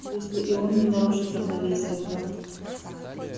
если и он не нарушит равновесия то